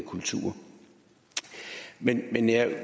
kultur men jeg